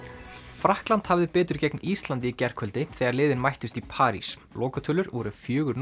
Frakkland hafði betur gegn Íslandi í gærkvöldi þegar liðin mættust í París lokatölur voru fjórir